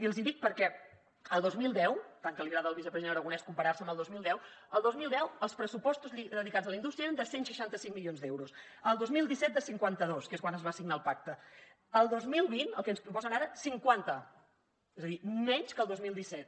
i els hi dic perquè el dos mil deu tant que li agrada al vicepresident aragonès comparar se amb el dos mil deu el dos mil deu els pressupostos dedicats a la indústria eren de cent i seixanta cinc milions d’euros el dos mil disset de cinquanta dos que és quan es va signar el pacte el dos mil vint el que ens proposen ara cinquanta és a dir menys que el dos mil disset